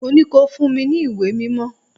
Mo ní ko fún mi ní ìwé mímọ́!